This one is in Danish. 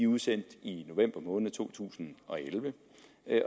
udsendt i november måned to tusind og elleve